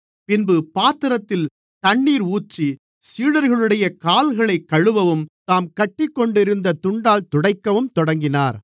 பின்பு பாத்திரத்தில் தண்ணீர் ஊற்றி சீடர்களுடைய கால்களைக் கழுவவும் தாம் கட்டிக்கொண்டிருந்த துண்டால் துடைக்கவும் தொடங்கினார்